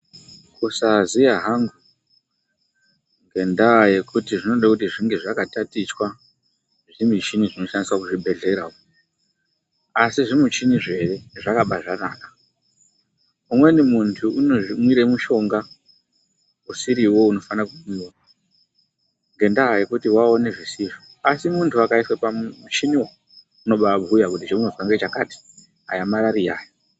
Kusaziya hangu ngendaa yekuti zvinode kuti zvinge zvakatatichwa zvimichini zvinoshandiswa kuzvibhedhlera uko. Asi zvimuchinizvo ere zvakabaanaka umweni munthu unomwira mushonga usiriwo unofana kumwiwa ngendaa yekuti waona zvisizvo. Asi munthu akaiswe pamuchiniwo, unobaabhuya kuti zveunozwa ngezvakati, aya Marariya.